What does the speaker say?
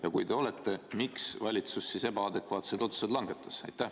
Ja kui te olete, siis miks valitsus ebaadekvaatsed otsused langetas?